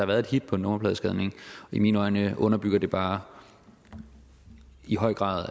været et hit på en nummerpladescanning i mine øjne underbygger det bare i høj grad